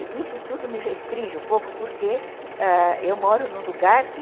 E isso tudo me restringe um pouco porque eu moro num lugar que...